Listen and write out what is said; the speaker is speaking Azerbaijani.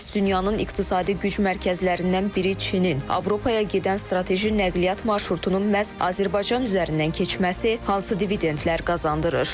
Bəs dünyanın iqtisadi güc mərkəzlərindən biri Çinin Avropaya gedən strateji nəqliyyat marşrutunun məhz Azərbaycan üzərindən keçməsi hansı dividentlər qazandırır?